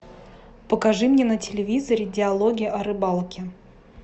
покажи мне на телевизоре диалоги о рыбалке